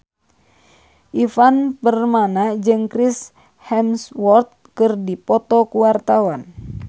Ivan Permana jeung Chris Hemsworth keur dipoto ku wartawan